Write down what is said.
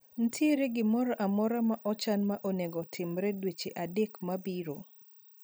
Nitiere gimro amora ma ochan ma onego otimre dweche adek mabiro?